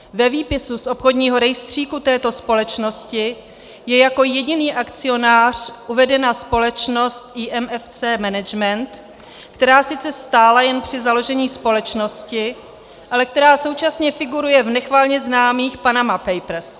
Ve výpisu z obchodního rejstříku této společnosti je jako jediný akcionář uvedena společnost Imfc Management, která sice stála jen při založení společnosti, ale která současně figuruje v nechvalně známých Panama Papers.